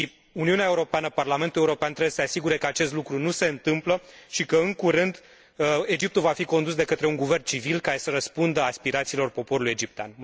Uniunea Europeană, Parlamentul European trebuie să se asigure că acest lucru nu se întâmplă și că, în curând, Egiptul va fi condus de către un guvern civil care să răspundă aspirațiilor poporului egiptean.